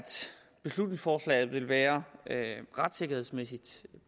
beslutningsforslaget vil være retssikkerhedsmæssigt